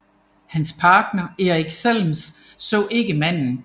Hans partner Eric Zelms så ikke manden